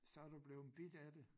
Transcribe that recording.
Så du bleven bidt af det